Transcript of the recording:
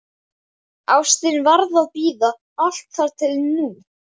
Ástin varð að bíða, allt þar til nú.